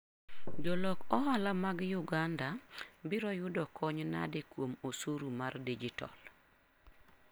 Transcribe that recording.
Jolok ohala mag Uganda biro yudo kony nade kuom osuru mar dijitol?